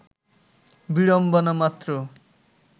বিড়ম্বনা মাত্র